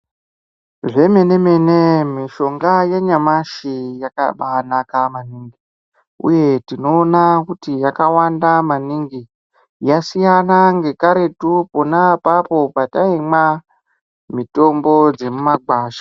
Zvemene mene mishonga yanyamashi yakabainaka maningi uye tinoona kuti yakawanda maningi yasiyana ngekaretu pona papo pataimwa mitombo dzemumagwasha.